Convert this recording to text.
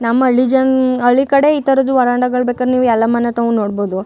ನಮ್ಮ ಹಳ್ಳಿ ಜನ ಹಳ್ಳಿ ಕಡೆ ಈ ತರದ್ ವರಾಂಡಗಳು ಬೇಕಾದ್ರೆ ನೀವು ಎಲ್ಲ ಮನೆ ಹತ್ರನು ನೋಡಬಹುದು.